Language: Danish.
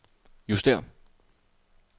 justér